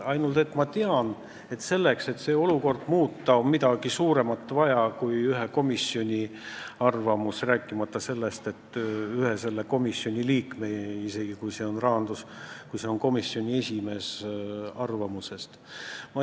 Ainult et ma tean, et olukorra muutmiseks on vaja midagi suuremat kui ühe komisjoni arvamus, rääkimata selle komisjoni ühe liikme – isegi kui see on komisjoni esimees – arvamusest.